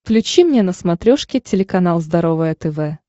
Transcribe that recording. включи мне на смотрешке телеканал здоровое тв